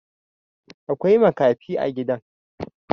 Akwai makafi a gidan